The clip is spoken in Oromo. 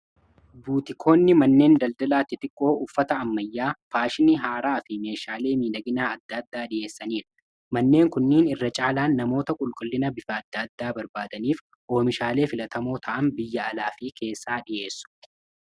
Buutikoonni manneen daldalaa xiqqoo uffata ammayyaa faashni haaraa fi meeshaalee miidhaginaa adda addaa dhi'eessaniidha. manneen kunniin irra caalaan namoota qulqullina bifa adda addaa barbaadaniif oomishaalee filatamoo ta'an biyya alaa fii keessaa dhi'eessu.